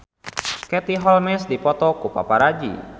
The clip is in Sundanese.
Katie Holmes dipoto ku paparazi